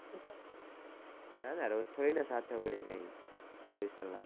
હને રોજ થોડી ના સાથે હોઈ એ ચોવીસ કલાક